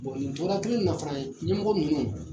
nin tora kelen in na fana ɲɛmɔgɔ minnu